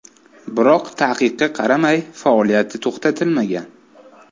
Biroq taqiqqa qaramay, faoliyati to‘xtatilmagan.